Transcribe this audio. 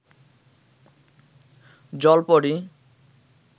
জল পরী